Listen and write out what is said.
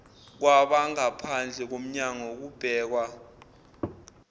kwabangaphandle komnyanngo kubhekwa